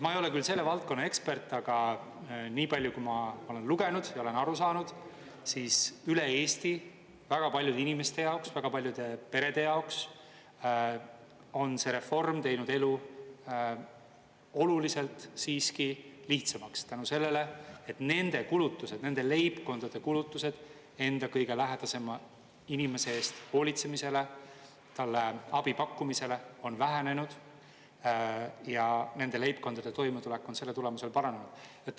Ma ei ole küll selle valdkonna ekspert, aga nii palju, kui ma olen lugenud ja olen aru saanud, siis üle Eesti väga paljude inimeste jaoks, väga paljude perede jaoks on see reform teinud elu oluliselt siiski lihtsamaks tänu sellele, et nende kulutused, nende leibkondade kulutused enda kõige lähedasema inimese eest hoolitsemisele, talle abi pakkumisele on vähenenud ja nende leibkondade toimetulek on selle tulemusel paranenud.